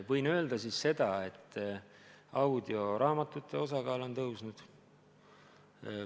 Võin öelda seda, et audioraamatute osakaal on tõusnud.